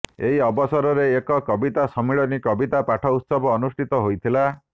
ଏହି ଅବସରରେ ଏକ କବିତା ସମ୍ମିଳନୀ କବିତା ପାଠ ଉତ୍ସବ ଅନୁଷ୍ଠିତ ହୋଇଥିଲା